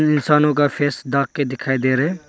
इंसानों का फेस ढक के दिखाई दे रहे है।